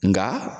Nka